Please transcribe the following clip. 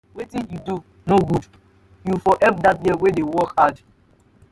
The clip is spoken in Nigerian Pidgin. wetin you dey do no good. you for help dat girl wey dey work hard.